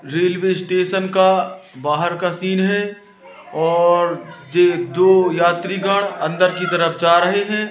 Railway station का बाहर का सीन हैं और जे यात्रीगण अंदर की तरफ जा रहें हैं।